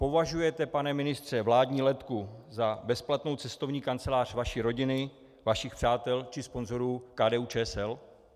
Považujete, pane ministře, vládní letku za bezplatnou cestovní kancelář vaší rodiny, vašich přátel či sponzorů KDU-ČSL?